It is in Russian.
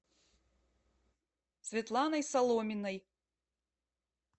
светланой соломиной